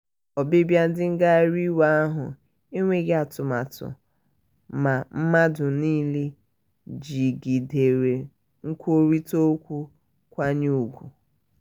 ọbịbịa ndị ngagharị iwe ahụ enweghị atụmatụ ma mmadụ niile jigidere nkwurịta okwu nkwanye ùgwù